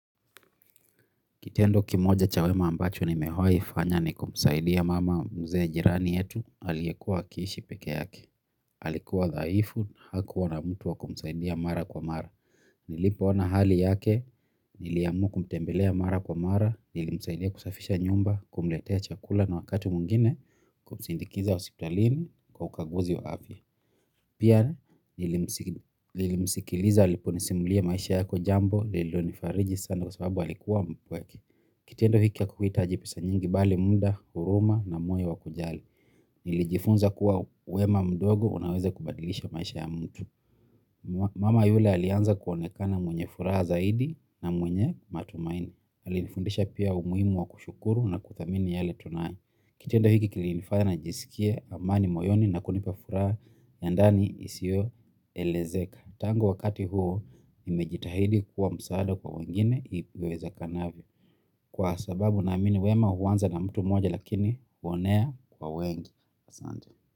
Kitendo kimoja chawema ambacho ni mewai fanya ni kumsaidia mama mzee jirani yetu, aliyekuwa akiishi pekee yake. Alikuwa dhaifu, hakuwana mtu wa kumsaidia mara kwa mara. Nilipo ona hali yake, niliamua kumtembelea mara kwa mara, nilimsaidia kusafisha nyumba, kumletea chakula na wakati mwingine, kumsindikiza hospitalini kwa ukaguzi wa afya. Pia nilimsikiliza, alipo nisimulia maisha yako jambo, lilonifariji sana kwa sababu alikuwa mpweke. Kitendo hiki hakikuhita jipesa nyingi bali muda, huruma na moyo wa kujali. Nilijifunza kuwa wema mdogo unaweza kubadilisha maisha ya mtu. Mama yule alianza kuonekana mwenye furaha zaidi na mwenye matumaini. Alinifundisha pia umuhimu wa kushukuru na kuthamini yale tunayo. Kitendo hiki kilinifanya na jisikia amani moyoni na kunipa furaha ya ndani isiyo elezeka. Tangu wakati huo nimejitahidi kuwa msaada kwa wengine iweze kanavyo. Kwa sababu na amini wema huanza na mtu moja lakini huonea kwawengi asante.